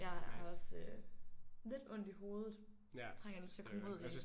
Jeg har også øh lidt ondt i hovedet. Trænger lidt til at komme ud igen